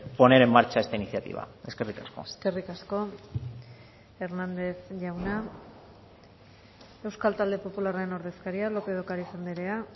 poner en marcha esta iniciativa eskerrik asko eskerrik asko hernández jauna euskal talde popularraren ordezkaria lópez de ocariz andrea